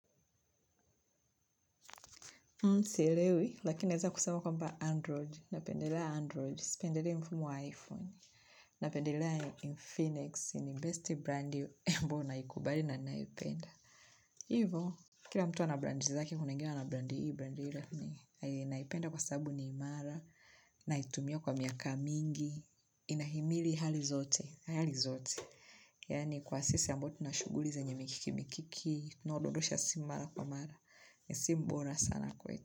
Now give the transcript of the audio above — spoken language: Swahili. Sielewi, lakini naeza kusema kwamba Android. Napendelea android sipendelei mfumo wa Iphone. Napendelea Infinix. Ni best brand ambao naikubali na naipenda. Hivo, kila mtu ana brand zake kuna wengine wana brandi hii brandi hile. Naipenda kwa sabu ni imara. Naitumia kwa miaka mingi. Inahimili hali zote. Hali zote. Yaani kwa sisi ambao tuna shughuli zenye mikiki mikiki. Tunaododosha si mara kwa mara. Si mbora sana kwetu.